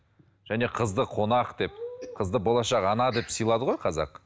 және қызды қонақ деп қызды болашақ ана деп сыйлады ғой қазақ